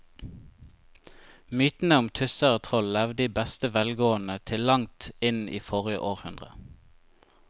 Mytene om tusser og troll levde i beste velgående til langt inn i forrige århundre.